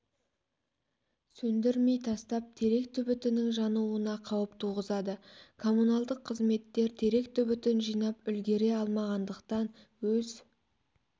сөндірмей тастап терек түбітінің жануына қауіп туғызады коммуналдық қызметтер терек түбітін жинап үлгіре алмағандықтан өз